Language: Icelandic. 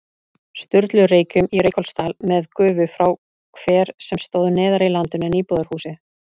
Sturlureykjum í Reykholtsdal með gufu frá hver sem stóð neðar í landinu en íbúðarhúsið.